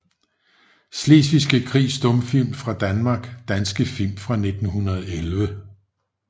Slesvigske Krig Stumfilm fra Danmark Danske film fra 1911